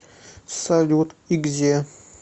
салют и где